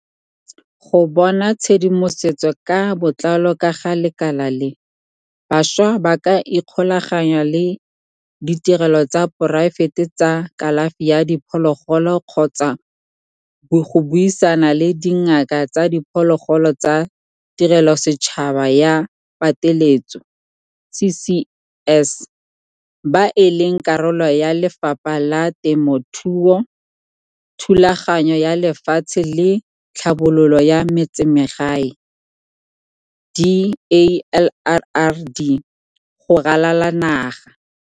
Go bona tshedimosetso ka botlalo ka ga lekala le, bašwa ba ka ikgolaganya le ditirelo tsa poraefete tsa kalafi ya diphologolo kgotsa go buisana le dingaka tsa diphologolo tsa tirelosetšhaba ya pateletso, CCS, ba e leng karolo ya Lefapha la Temothuo, Thulaganyo ya Lefatshe le Tlhabololo ya Metsemagae, DALRRD, go ralala naga.